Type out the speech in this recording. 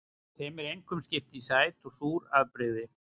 Þeim er einkum skipt í sæt og súr afbrigði.